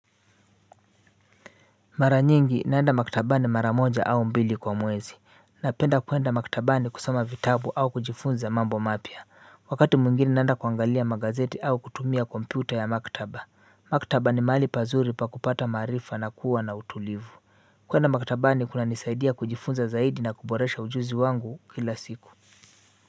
Mara nyingi naenda maktabani mara moja au mbili kwa mwezi. Napenda kuenda maktabani kusoma vitabu au kujifunza mambo mapya. Wakati mwingine naenda kuangalia magazeti au kutumia kompyuta ya maktaba. Maktaba ni mahali pazuri pa kupata maarifa na kuwa na utulivu. Kuenda maktabani kunanisaidia kujifunza zaidi na kuboresha ujuzi wangu kila siku.